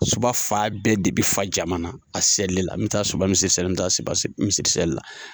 Suba fan bɛɛ de bɛ fa jama na a selila, me taa Suba misiri selila, me taa Suba seli misiri seli la.